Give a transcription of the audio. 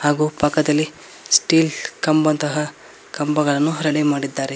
ಹಾಗೂ ಪಕ್ಕದಲ್ಲಿ ಸ್ಟೀಲ್ ಕಂಬಂತಹ ಕಂಬಗಳನ್ನು ರೆಡಿ ಮಾಡಿದರೆ.